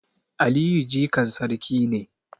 Aliyu jikan sarki ne